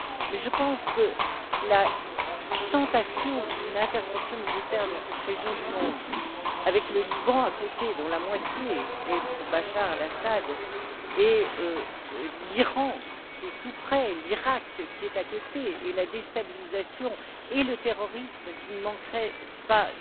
Mais je pense que la tentation d'une intervention militaire dans cette région du monde avec le Liban à côté, dont la moitié soutient Bachar el Assad, l'Iran, qui est tout près, l'Iraq, qui est à côté, et la déstabilisation et le terrorisme qui ne manqueraient pas